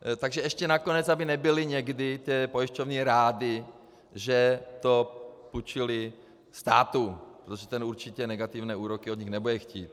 Takže ještě nakonec aby nebyly někdy ty pojišťovny rády, že to půjčily státu, protože ten určitě negativní úroky od nich nebude chtít.